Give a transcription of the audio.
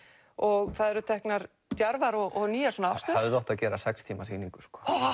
og það eru teknar djarfar og nýjar afstöður hefði átt að gera sex tíma sýningu